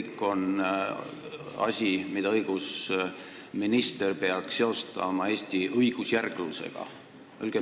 See on asi, mida justiitsminister peaks seostama Eesti õigusjärglusega.